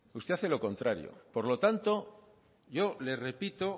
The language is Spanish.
usted hace lo contrario por lo tanto yo le repito